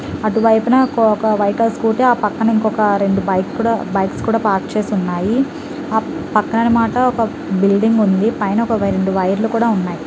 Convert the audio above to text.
అటువైపున ఒక-ఒక white scooty ఆ పక్కన ఇంకొక రెండు బైక్ కూడా బైక్స్ కూడా పార్క్ చేసి ఉన్నాయి ఆ పక్కన అన్నమాట ఒక బిల్డింగ్ ఉంది పైన ఒక వై రెండు వైర్లు కూడా ఉన్నాయి.